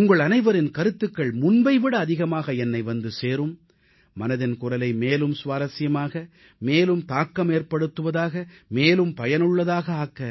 உங்கள் அனைவரின் கருத்துகள் முன்பை விட அதிகமாக என்னை வந்து சேரும் மனதின் குரலை மேலும் சுவாரசியமாக மேலும் தாக்கமேற்படுத்துவதாக மேலும் பயனுள்ளதாக ஆக்க